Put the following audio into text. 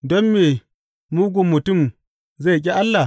Don me mugun mutum zai ƙi Allah?